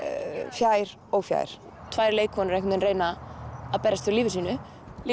fjær og fjær tvær leikkonur að reyna að berjast fyrir lífi sínu